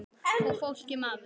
Og fólkið maður.